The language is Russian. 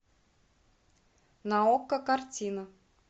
на окко картина